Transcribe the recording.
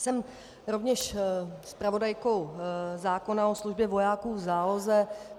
Jsem rovněž zpravodajkou zákona o službě vojáků v záloze.